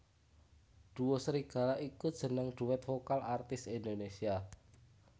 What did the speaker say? Duo Serigala iku jeneng duet vokal artis Indonesia